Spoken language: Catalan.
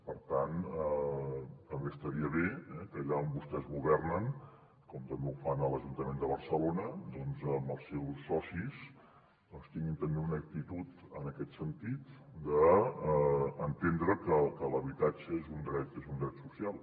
per tant també estaria bé que allà on vostès governen com també ho fan a l’ajuntament de barcelona amb els seus socis tinguin també una actitud en aquest sentit d’entendre que l’habitatge és un dret social